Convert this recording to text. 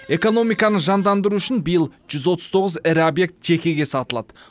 экономиканы жандандыру үшін биыл жүз отыз тоғыз ірі объект жекеге сатылады